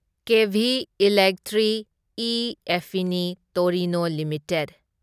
ꯀꯦꯚꯤ electric ꯢ ꯑꯦꯐꯐꯤꯅꯤ Torino limited